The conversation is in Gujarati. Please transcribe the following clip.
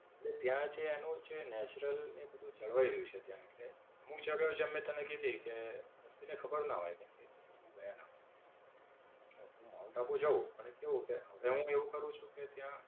એટલે ત્યાં જે એનું છે નેચરલ ને બધું જળવાય રહેલું છે ત્યાં. એટલે હું ચાલ્યો જાઉં એમ મેં તને કીધી તે વસ્તી ને ખબર ના હોય કેમકે એ લોકો ગયા ના હોય. એટલે હું માઉન્ટ આબુ જાઉં પણ કેવું કે, હવે હું એવું કરું છું કે ત્યાં.